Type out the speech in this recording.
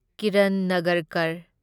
Kiran Nagarkar